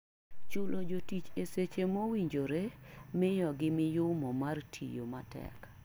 Chulo jotich e seche mowinjore miyo gi miyumo mar tiyo matek.